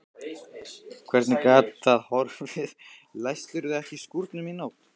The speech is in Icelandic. Hvernig gat það horfið, læstirðu ekki skúrnum í nótt?